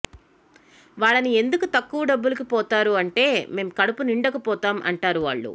వాళ్లని ఎందుకు తక్కువ డబ్బులకు పోతారు అంటే మేం కడుపు నిండక పోతాం అంటారు వాళ్లు